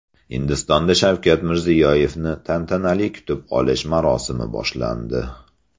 Hindistonda Shavkat Mirziyoyevni tantanali kutib olish marosimi boshlandi .